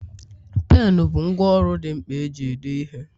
Penu bụ ngwá ọrụ dị mkpa eji ede ihe